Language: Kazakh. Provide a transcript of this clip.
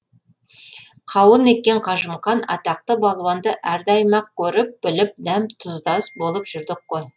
қауын еккен қажымұқан атақты балуанды әрдайым ақ көріп біліп дәм тұздас болып жүрдік қой